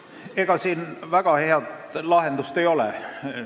Ega siin väga head lahendust ei ole.